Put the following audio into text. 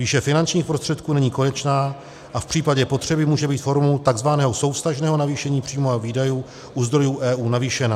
Výše finančních prostředků není konečná a v případě potřeby může být formou tzv. souvztažného navýšení příjmů a výdajů u zdrojů EU navýšena.